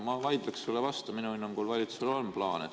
Ma vaidleksin sulle vastu: minu hinnangul valitsusel on plaan.